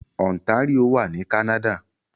Ontario wà ní Canada